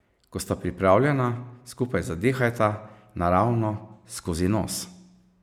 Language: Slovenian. Ko sta pripravljena, skupaj zadihajta, naravno, skozi nos.